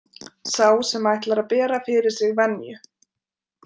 Sá sem ætlar að bera fyrir sig venju.